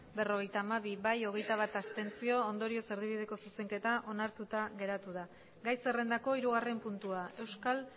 berrogeita hamabi abstentzioak hogeita bat ondorioz erdibideko zuzenketa onartuta geratu da gai zerrendako hirugarren puntua euskal